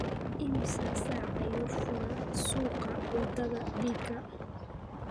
Immisa saac ayuu furaa suuqa wadada thika?